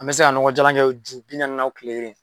An be se ka ɲɔgɔ jalan kɛ ji pinɛ nunnu na o kile kelen